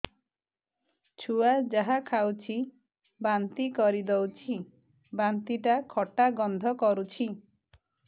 ଛୁଆ ଯାହା ଖାଉଛି ବାନ୍ତି କରିଦଉଛି ବାନ୍ତି ଟା ଖଟା ଗନ୍ଧ କରୁଛି